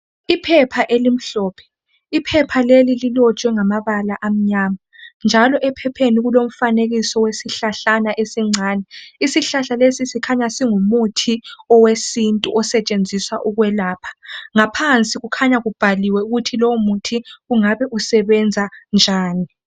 Iphepha elimhlophe, iphepha leli lilotshwe ngamabala amnyama njalo ephepheni kulomfanekiso wesihlahlana esincane. Isihlahla lesi sikhanya singumuthi owesintu osetshenziswa ukwelapha. Ngaphansi kukhanya kubhaliwe ukuthi lowo muthi ungabe usebenza njani.